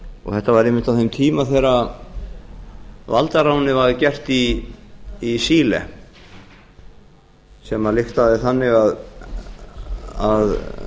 þetta var einmitt á þeim tíma þegar valdaránið var gert í chile sem lyktaði þannig að